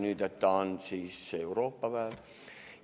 Nüüd ta on siis Euroopa päev.